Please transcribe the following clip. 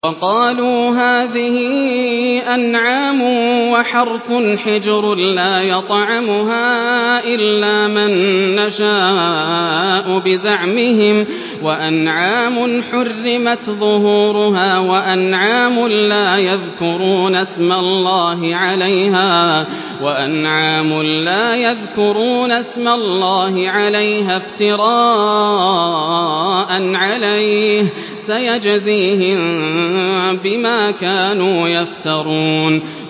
وَقَالُوا هَٰذِهِ أَنْعَامٌ وَحَرْثٌ حِجْرٌ لَّا يَطْعَمُهَا إِلَّا مَن نَّشَاءُ بِزَعْمِهِمْ وَأَنْعَامٌ حُرِّمَتْ ظُهُورُهَا وَأَنْعَامٌ لَّا يَذْكُرُونَ اسْمَ اللَّهِ عَلَيْهَا افْتِرَاءً عَلَيْهِ ۚ سَيَجْزِيهِم بِمَا كَانُوا يَفْتَرُونَ